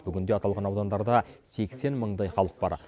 бүгінде аталған аудандарда сексен мыңдай халық бар